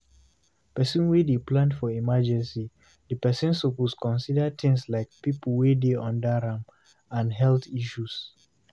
When person dey plan for emergecy, di person suppose consider things like, pipo wey dey under am and health issue